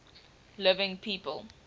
living people